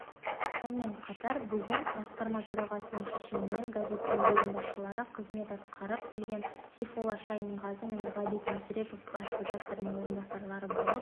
сонымен қатар бүгін басқарма төрағасының шешімімен газеттің бөлім басшылары қызметін атқарып келген сейфолла шайынғазы мен ғабит мүсіреп бас редактордың орынбасарлары болып